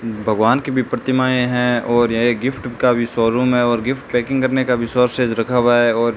भगवान की भी प्रतिमाएं है और यह गिफ्ट का भी शोरूम है और गिफ्ट पैकिंग करने का भी सोर्सेस रखा हुआ है और --